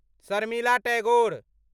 Sharmila Tagore